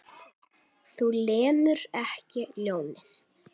Þú lemur ekki ljónið.